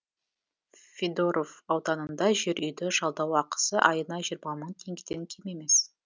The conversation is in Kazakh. федоров ауданында жер үйді жалдау ақысы айына жиырма мың теңгеден кем емес